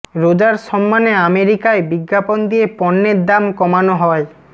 রোজার সম্মানে আমেরিকায় বিজ্ঞাপন দিয়ে পণ্যের দাম কমানো হয়